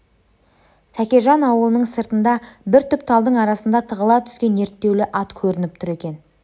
тәкежан аулының сыртында бір түп талдың арасында тығыла түскен ерттеулі ат көрініп тұр екен